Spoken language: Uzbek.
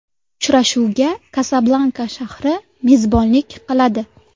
Uchrashuvga Kasablanka shahri mezbonlik qiladi.